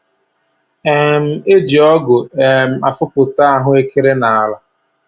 um E ji ọgụ um efopụta ahụekere nala